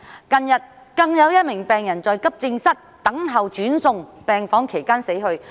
近日更有一名病人在急症室等候轉送病房期間死去。